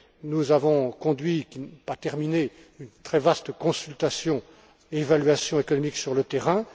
Nous avons conduit, mais pas terminé, une très vaste consultation et évaluation économique sur le terrain.